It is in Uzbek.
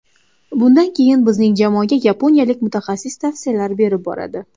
Bundan keyin bizning jamoaga yaponiyalik mutaxassis tavsiyalar berib boradi.